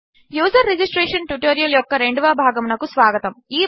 user registration ట్యుటోరియల్యొక్కరెండవభాగమునకుస్వాగతం